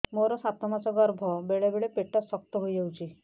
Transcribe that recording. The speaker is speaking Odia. ମୋର ସାତ ମାସ ଗର୍ଭ ବେଳେ ବେଳେ ପେଟ ଶକ୍ତ ହେଇଯାଉଛି